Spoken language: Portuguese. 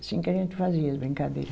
Assim que a gente fazia as brincadeira.